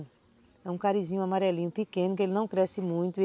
É um carizinho amarelinho pequeno que ele não cresce muito.